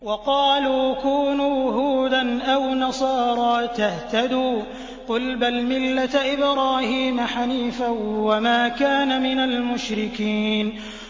وَقَالُوا كُونُوا هُودًا أَوْ نَصَارَىٰ تَهْتَدُوا ۗ قُلْ بَلْ مِلَّةَ إِبْرَاهِيمَ حَنِيفًا ۖ وَمَا كَانَ مِنَ الْمُشْرِكِينَ